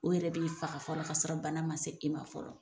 O yɛrɛ b'i faga fɔ ka sɔrɔ bana ma se e ma fɔlɔ.